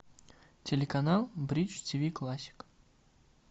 телеканал бридж тиви классик